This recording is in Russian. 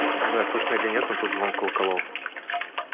не знаю слышно или нет но тут звон колоколов